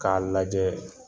K'a lajɛ